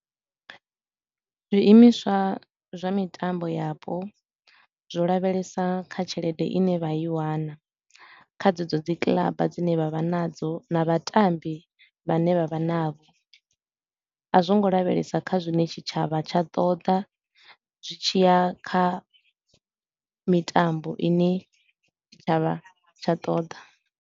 Zwiimiswa zwa mitambo yapo, zwo lavhelesa kha tshelede i ne vha i wana kha dzedzo dzi kiḽaba dzine vha vha nadzo na vhatambi vhane vha vha navho, a zwo ngo lavhelesa kha zwine tshitshavha tsha ṱoḓa zwi tshi ya kha mitambo i ne tshitshavha tsha ṱoḓa.